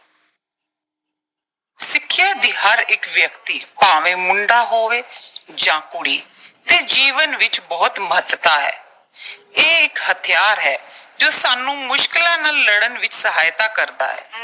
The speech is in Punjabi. ਸਿੱਖਿਆ ਦੀ ਹਰ ਇੱਕ ਵਿਅਕਤੀ, ਭਾਵੇਂ ਮੁੰਡਾ ਹੋਵੇ ਜਾਂ ਕੁੜੀ, ਦੇ ਜੀਵਨ ਵਿੱਚ ਬਹੁਤ ਮਹੱਤਤਾ ਹੈ। ਇਹ ਇੱਕ ਹਥਿਆਰ ਹੈ, ਜੋ ਸਾਨੂੰ ਮੁਸ਼ਕਿਲਾਂ ਨਾਲ ਲੜਨ ਵਿੱਚ ਸਹਾਇਤਾ ਕਰਦਾ ਹੈ।